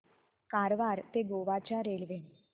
कारवार ते गोवा च्या रेल्वे